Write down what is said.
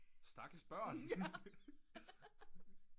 Stakkels børn